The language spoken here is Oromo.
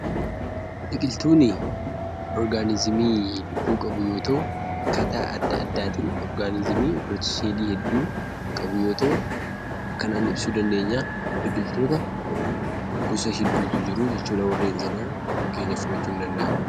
Biqiltuun orgaanizimii lubbuu qabu yoo ta'u, akkaataa adda addaatiin orgaanizimii yookiis seelii hedduu kan qabu yoo ta'u, akkanaan ibsuu dandeenya. Biqiltoota gosa hedduutu jiru jechuudha warreen sana fakkeenya fudhachuu in dandeenya.